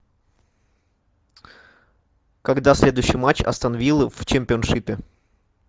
когда следующий матч астон виллы в чемпионшипе